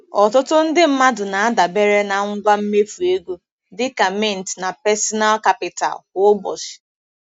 Ọtụtụ ndị mmadụ na-adabere na ngwa mmefu ego, dịka Mint na Personal Capital, kwa ụbọchị.